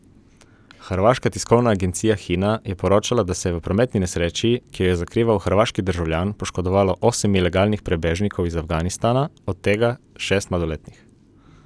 Hrvaška tiskovna agencija Hina je poročala, da se je v prometni nesreči, ki jo je zakrivil hrvaški državljan, poškodovalo osem ilegalnih prebežnikov iz Afganistana, od tega šest mladoletnih.